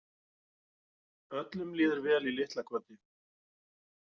Öllum líður vel í Litlakoti!